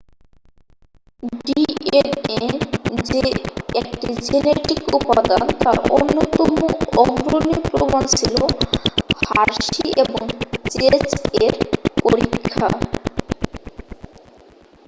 DNA যে 1টি genetic উপাদান তার অন্যতম অগ্রণী প্রমাণ ছিল হার্শি এবং চেজ এর পরীক্ষা